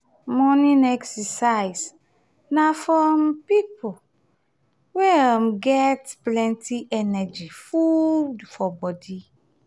morning exercise na for um pipo wey get plenty energy full for body